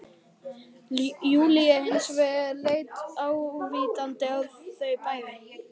Júlía hins vegar leit ávítandi á þau bæði